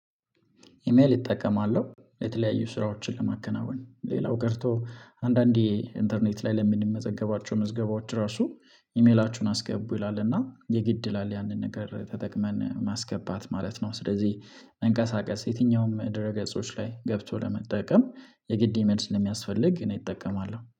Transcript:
ኢሜል እጠቀማለሁ የተለያዩ ስራዎችን ለማከናወን ሌላው ቀርቶ አንዳንዴ ኢንተርኔት ላይ ለምንመዘገባቸው ምዝገባዎች ራሱ ኢሜላችሁን አስገቡ ይላልና የግድ ይላል ያንን ነገር ተጠቅመን ማስገባት ማለት ነው። ስለዚህ መንቀሳቀስ የትኛውም ድረ ገጾች ላይ ገብቶ ለመጠቀም የግድ መልስ ለሚያስፈልግ እኔ እጠቀማለሁ